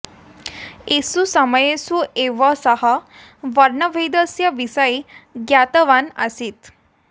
एषु समयेषु एव सः वर्णभेदस्य विषये ज्ञातवान् आसीत्